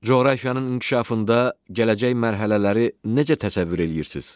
Coğrafiyanın inkişafında gələcək mərhələləri necə təsəvvür eləyirsiz?